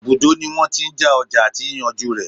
Ibùdó ní wọ́n tí n já ọjà àti yíyànjú rẹ̀.